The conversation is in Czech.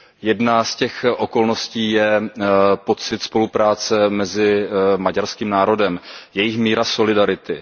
Jedna z těch okolností je pocit spolupráce mezi maďarským národem, jejich míra solidarity.